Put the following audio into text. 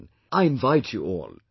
Come on, I invite you all